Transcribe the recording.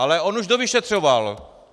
Ale on už dovyšetřoval.